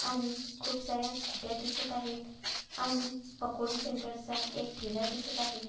आणि खूपसार्‍या स्कूटया दिसत आहे आणि पकोडी सेंटर चा एक ठेला दिसत आहे.